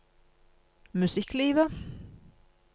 musikklivet